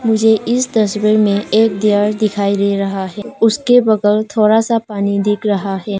मुझे इस तस्वीर में एक डियर दिखाई दे रहा है उसके बगल थोड़ा सा पानी दिख रहा है।